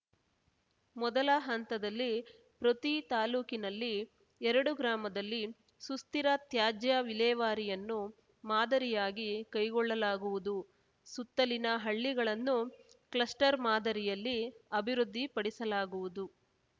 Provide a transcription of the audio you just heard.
ಮೊದಲ ಹಂತದಲ್ಲಿ ಪ್ರತಿ ತಾಲೂಕಿನಲ್ಲಿ ಎರಡು ಗ್ರಾಮದಲ್ಲಿ ಸುಸ್ಥಿರ ತ್ಯಾಜ್ಯ ವಿಲೇವಾರಿಯನ್ನು ಮಾದರಿಯಾಗಿ ಕೈಗೊಳ್ಳಲಾಗುವುದು ಸುತ್ತಲಿನ ಹಳ್ಳಿಗಳನ್ನು ಕ್ಲಸ್ಟರ್‌ ಮಾದರಿಯಲ್ಲಿ ಅಭಿವೃದ್ಧಿಪಡಿಸಲಾಗುವುದು